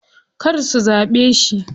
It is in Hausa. Kar zu zaɓe shi.